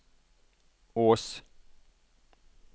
Ås